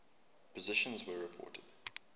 positrons were reported